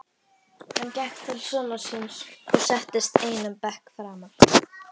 Hann gekk til sonar síns og settist einum bekk framar.